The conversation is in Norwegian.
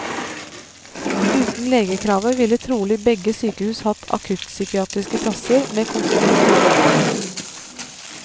Uten legekravet ville trolig begge sykehus hatt akuttpsykiatriske plasser med konsultativ lege.